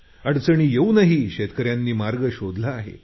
अडचणी येऊनही शेतकऱ्यांनी मार्ग शोधला आहे